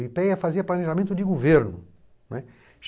O i pê ê á fazia planejamento de governo, não é.